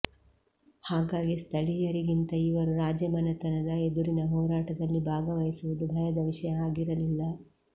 ಹಾಗಾಗಿ ಸ್ಥಳೀಯರಿಗಿಂತ ಇವರು ರಾಜಮನೆತನದ ಎದುರಿನ ಹೋರಾಟದಲ್ಲಿ ಭಾಗವಹಿವುದು ಭಯದ ವಿಷಯ ಆಗಿರಲಿಲ್ಲ